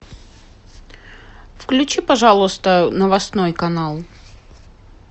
включи пожалуйста новостной канал